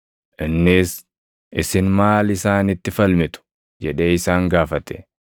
Innis, “Isin maal isaanitti falmitu?” jedhee isaan gaafate.